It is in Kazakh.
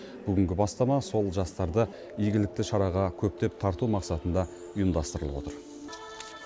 бүгінгі бастама сол жастарды игілікті шараға көптеп тарту мақсатында ұйымдастырылып отыр